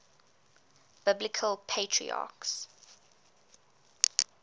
biblical patriarchs